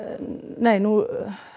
nei nú